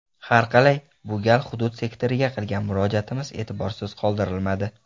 Harqalay, bu gal hudud sektoriga qilgan murojaatimiz e’tiborsiz qoldirilmadi.